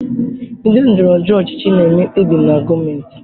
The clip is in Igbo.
Ndị ndọrọ ndọrọ ọchịchị na-eme mkpebi na gọọmentị.